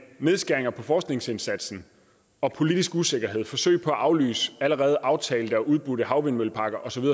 nedskæring på forskningsindsatsen og politisk usikkerhed med forsøg på at aflyse allerede aftalte og udbudte havvindmølleparker og så